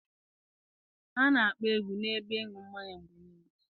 A na-akpọ egwu n'ebe ịṅụ mmanya mgbe niile.